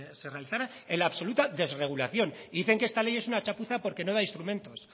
se realizara en la absoluta desregulación y dicen que esta ley es una chapuza porque no da instrumentos